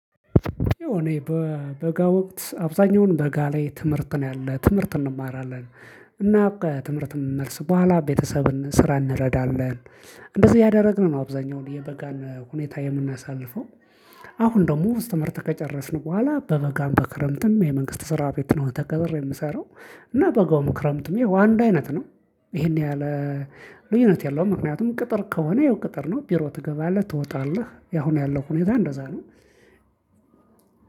የሆነ የበ በጋ ወቅት አብዛኛውን በጋ ላይ ትምህርት ነው ያለን ትምህርት እንማራለን። እና በቃ ትምህርት የምንመርስ በኋላ ቤተሰብን ስራ እንረዳለን። እንደዚህ ያደረግነው አብዛኛው የበጋን ሁኔታ የምናሳልፈው። አሁን ደግሞ ውስጥ መርጠን ከጨረስን በኋላ በበጋም በክረምትም የመንግስት ስራ ቤት ነው ተቀጥሬ የምሰራው። እና በጋው ምክረምትም ይሄው አንድ አይነት ነው። ይሄን ያህል ልዩነት የለውም። ምክንያቱም ቅጥር ከሆነ ይኸው ቅጥር ነው ቢሮ ትገባለህ ትወጣለህ ያሁን ያለው ሁኔታ እንደዛ ነው።